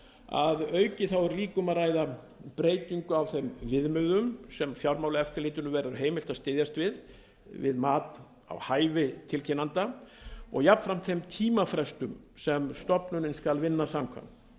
að auki er líka um að breytingu á þeim viðmiðum sem fjármálaeftirlitinu verður heimilt að styðjast við við mat á hæfi tilkynnanda og jafnframt þeim tímafrestum sem stofnunin skal vinna samkvæmt